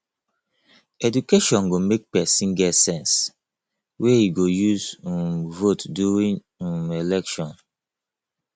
education go make pesin get sense wey e go use um vote during um election